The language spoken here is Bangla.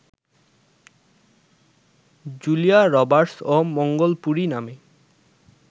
জুলিয়া রবার্টস ও মঙ্গলপুরি নামে